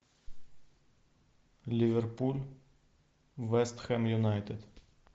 ливерпуль вестхэм юнайтед